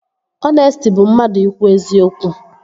Ọnesti bụ mmadụ ikwu eziokwu